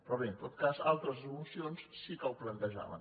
però bé en tot cas altres mocions sí que ho plantejaven